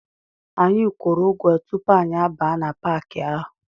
Anyị kwuru ụgwọ tupu anyị abaa na Paaki ahụ.